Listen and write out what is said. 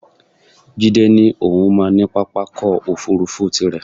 Jídé ní òun máa ní pápákọ̀ òfuurufú tirẹ̀